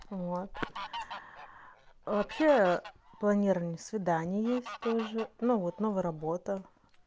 вот вообще планирование свидания есть тоже ну вот новая работа